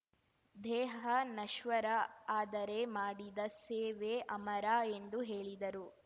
ದೇಹ ನಶ್ವರ ಆದರೆ ಮಾಡಿದ ಸೇವೆ ಅಮರ ಎಂದು ಹೇಳಿದರು